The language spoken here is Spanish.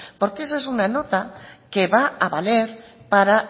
porque esa es una nota que va a valer para